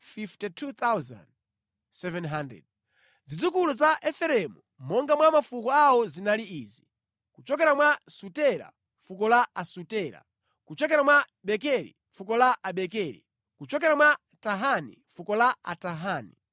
Zidzukulu za Efereimu monga mwa mafuko awo zinali izi; kuchokera mwa Sutela, fuko la Asutela; kuchokera mwa Bekeri, fuko la Abekeri; kuchokera mwa Tahani, fuko la Atahani.